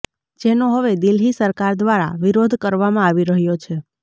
જેનો હવે દિલ્હી સરકાર દ્વારા વિરોધ કરવામાં આવી રહ્યો છે